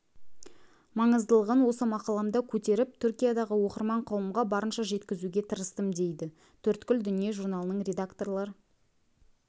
маңыздылығын осы мақаламда көтеріп түркиядағы оқырман қауымға барынша жеткізуге тырыстым дейді төрткүл дүние журналының редакторлар